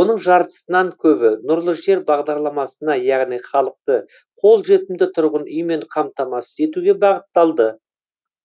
оның жартысынан көбі нұрлы жер бағдарламасына яғни халықты қолжетімді тұрғын үймен қамтамасыз етуге бағытталды